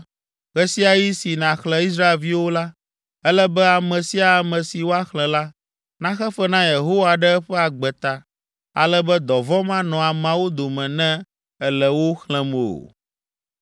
“Ɣe sia ɣi si nàxlẽ Israelviwo la, ele be ame sia ame si woaxlẽ la, naxe fe na Yehowa ɖe eƒe agbe ta, ale be dɔvɔ̃ manɔ ameawo dome ne èle wo xlẽm o.